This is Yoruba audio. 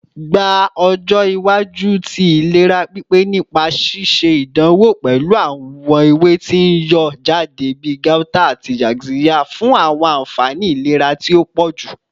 Gba ọjọ iwaju ti ilera pipe nipa ṣiṣe idanwo pẹlu awọn ewe ti n yọ jade bi gauta ati yaxiya fun awọn anfani ilera ti o pọju